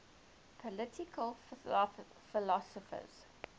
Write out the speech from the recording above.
political philosophers